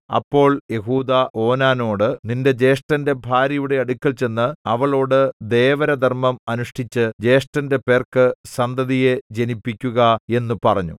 അപ്പോൾ യെഹൂദാ ഓനാനോട് നിന്റെ ജ്യേഷ്ഠന്റെ ഭാര്യയുടെ അടുക്കൽ ചെന്ന് അവളോടു ദേവരധർമ്മം അനുഷ്ഠിച്ച് ജ്യേഷ്ഠന്റെ പേർക്ക് സന്തതിയെ ജനിപ്പിക്കുക എന്നു പറഞ്ഞു